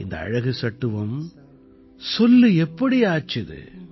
இந்த அழகு சட்டுவம் சொல்லு எப்படி ஆச்சுது